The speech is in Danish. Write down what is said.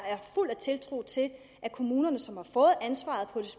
fuld af tiltro til at kommunerne som har fået ansvaret på